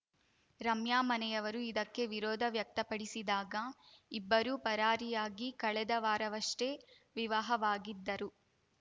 ರಮ್ಯಾ ಮನೆಯವರು ಇದಕ್ಕೆ ವಿರೋಧ ವ್ಯಕ್ತಪಡಿಸಿದಾಗ ಇಬ್ಬರೂ ಪರಾರಿಯಾಗಿ ಕಳೆದ ವಾರವಷ್ಟೇ ವಿವಾಹವಾಗಿದ್ದರು